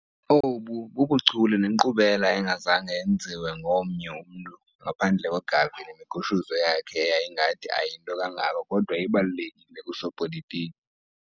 Obu bubuchule nenkqubela engazange yenziwa ngomnye umntu, ngaphandle koGarvey nemigushuzo yakhe eyayingathi ayinto kangako kodwa ibalulekile kusopolitiki